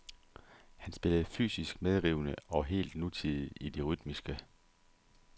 Han spillede fysisk medrivende og helt nutidigt i det rytmiske.